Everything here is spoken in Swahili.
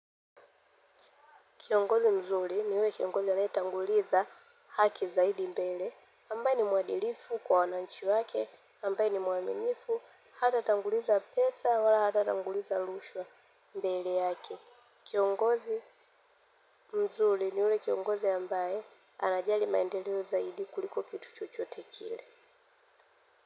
Kiongozi mzuri ni ule kiongozi ya anayetanguliza haki zaidi mbele, ambaye ni mwadilifu kwa wananchi wake, ambaye ni mwaminifu, hata tanguliza pesa wala hata tanguliza lushwa mbele yake. Kiongozi mzuri ni ule kiongozi ambaye anajali maendeleo zaidi kuliko kitu chochote kile.